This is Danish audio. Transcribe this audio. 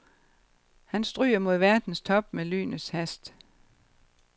Han stryger mod verdens top med lynets hast.